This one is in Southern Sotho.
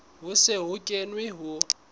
ho se ho kenwe ho